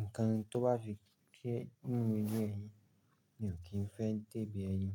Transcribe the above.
Ǹnkan tí ó bá fi kí ẹ nínú inú ẹyin, mi ò kí ń fẹ́ dẹ́bi ẹyin.